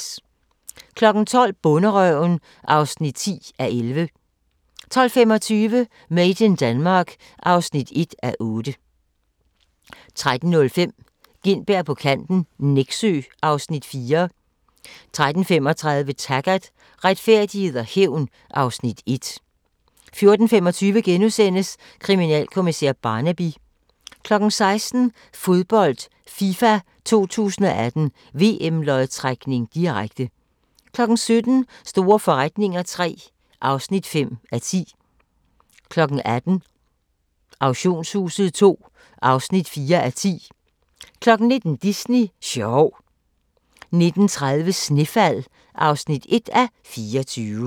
12:00: Bonderøven (10:11) 12:25: Made in Denmark (1:8) 13:05: Gintberg på kanten - Nexø (Afs. 4) 13:35: Taggart: Retfærdighed og hævn (Afs. 1) 14:25: Kriminalkommissær Barnaby * 16:00: Fodbold: FIFA 2018 - VM-lodtrækning, direkte 17:00: Store forretninger III (5:10) 18:00: Auktionshuset II (4:10) 19:00: Disney sjov 19:30: Snefald (1:24)